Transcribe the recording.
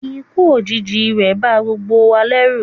ikú òjijì rẹ̀ ba gbogbo wa lẹ́rù